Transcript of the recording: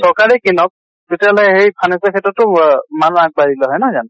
চৰকাৰে কিনক, তেতিয়া হলে হেই finance ৰ ক্ষ্ত্ৰতো ৱ মানুহ আগ বাঢ়িলে হয়। নহয় জানো?